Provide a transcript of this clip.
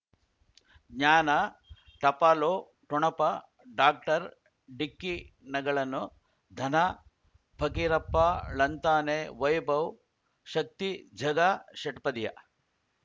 ಜ್ಞಾನ ಟಪಾಲು ಠೊಣಪ ಡಾಕ್ಟರ್ ಢಿಕ್ಕಿ ಣಗಳನು ಧನ ಫಕೀರಪ್ಪ ಳಂತಾನೆ ವೈಭವ್ ಶಕ್ತಿ ಝಗಾ ಷಟ್ಪದಿಯ